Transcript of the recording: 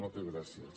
moltes gràcies